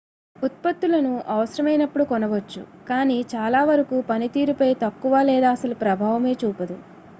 ఉత్పత్తులను అవసరమైనప్పుడు కొనవచ్చు కాని చాలావరకు పనితీరుపై తక్కువ లేదా అసలు ప్రభావమే చూపదు